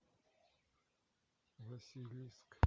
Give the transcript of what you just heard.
василиск